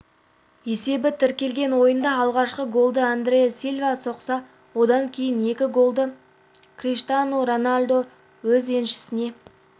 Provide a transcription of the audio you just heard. есебі тіркелген ойында алғашқы голды андре сильва соқса одан кейінгі екі голды криштиану роналду өз еншісіне